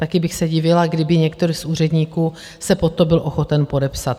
Taky bych se divila, kdyby některý z úředníků se pod to byl ochoten podepsat.